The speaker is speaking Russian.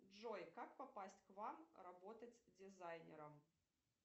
джой как попасть к вам работать дизайнером